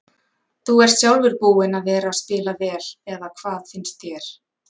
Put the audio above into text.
Þú ert sjálfur búinn að vera spila vel eða hvað finnst þér?